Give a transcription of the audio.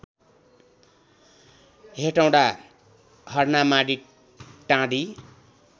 Hetauda Harnamadi टाँडी